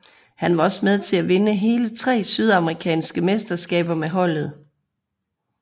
Han var også med til at vinde hele tre sydamerikanske mesterskaber med holdet